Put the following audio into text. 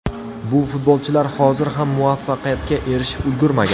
Bu futbolchilar hozir ham muvaffaqiyatga erishib ulgurmagan.